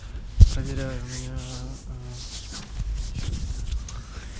проверяю у меня сейчас